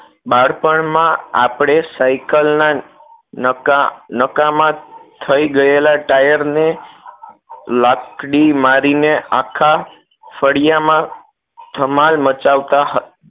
બાળપણ માં આપણે સાયકલના નકા નકામાં થઈ ગયેલા tyre લાકડી મારીને આખા ફળિયા માં ધમાલ મચાવતા હ